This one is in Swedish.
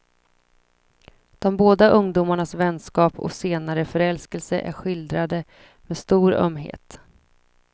De båda ungdomarnas vänskap och senare förälskelse är skildrade med stor ömhet.